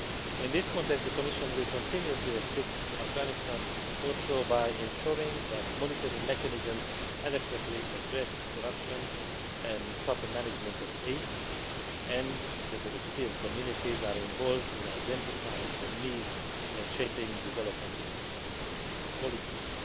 In this context the Commission will continue to assist Afghanistan by ensuring that monitoring mechanisms adequately address corruption and proper management of aid and that the recipient communities are involved in identifying needs and shaping development assistance policies.